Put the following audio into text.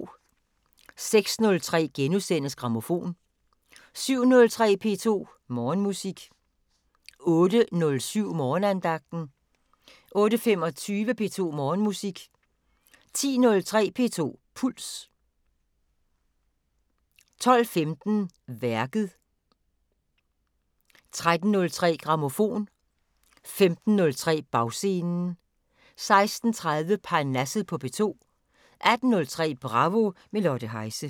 06:03: Grammofon * 07:03: P2 Morgenmusik 08:07: Morgenandagten 08:25: P2 Morgenmusik 10:03: P2 Puls 12:15: Værket 13:03: Grammofon 15:03: Bagscenen 16:30: Parnasset på P2 18:03: Bravo – med Lotte Heise